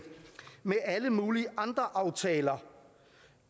med alle mulige andre aftaler